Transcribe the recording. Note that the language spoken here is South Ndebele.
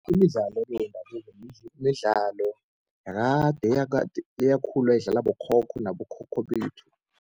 Imidlalo-ke yendabuko midlalo yakade eyakhulwa idlalwa bokhokho nabokhokho bethu.